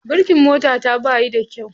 Birikin motata bayi da kyau.